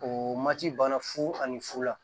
O mati banna fu ani fula